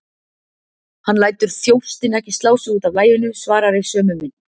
Hann lætur þjóstinn ekki slá sig út af laginu, svarar í sömu mynt.